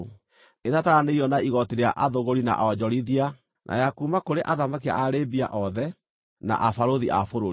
ĩtataranĩirio na igooti rĩa athũgũri na onjorithia na ya kuuma kũrĩ athamaki a Arabia, othe, na abarũthi a bũrũri.